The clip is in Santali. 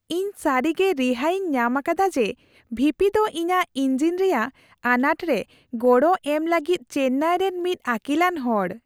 ᱤᱧ ᱥᱟᱹᱨᱤᱜᱮ ᱨᱤᱦᱟᱹᱭ ᱤᱧ ᱧᱟᱢ ᱟᱠᱟᱫᱟ ᱡᱮ, ᱵᱷᱤ ᱯᱤ ᱫᱚ ᱤᱧᱟᱹᱜ ᱤᱧᱡᱤᱱ ᱨᱮᱭᱟᱜ ᱟᱱᱟᱴ ᱨᱮ ᱜᱚᱲᱚ ᱮᱢ ᱞᱟᱹᱜᱤᱫ ᱪᱮᱱᱱᱟᱭ ᱨᱮᱱ ᱢᱤᱫ ᱟᱹᱠᱤᱞᱟᱱ ᱦᱚᱲ ᱾